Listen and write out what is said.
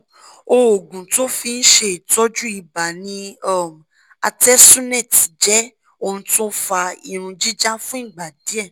oogun to fin se itoju iba ni um artesunate je ounto fa irun jija fun igba die